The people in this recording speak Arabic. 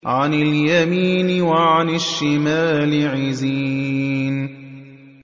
عَنِ الْيَمِينِ وَعَنِ الشِّمَالِ عِزِينَ